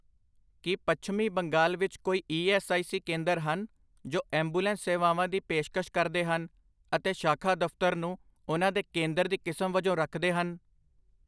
ਕੀ ਪੱਛਮੀ ਬੰਗਾਲ ਵਿੱਚ ਕੋਈ ਈ ਐੱਸ ਆਈ ਸੀ ਕੇਂਦਰ ਹਨ ਜੋ ਐਂਬੂਲੈਂਸ ਸੇਵਾਵਾਂ ਦੀ ਪੇਸ਼ਕਸ਼ ਕਰਦੇ ਹਨ ਅਤੇ ਸ਼ਾਖਾ ਦਫ਼ਤਰ ਨੂੰ ਉਹਨਾਂ ਦੇ ਕੇਂਦਰ ਦੀ ਕਿਸਮ ਵਜੋਂ ਰੱਖਦੇ ਹਨ?